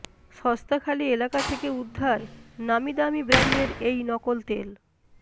সস্তাখালি এলাকা থেকে উদ্ধার নামি দামি ব্র্য়ান্ডের এই নকল তেল